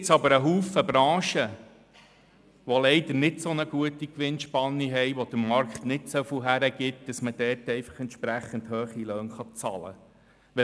Nun gibt es aber viele Branchen, die leider keine solch gute Gewinnspanne haben, bei denen der Markt nicht so viel hergibt, dass man dort entsprechend hohe Löhne bezahlen kann.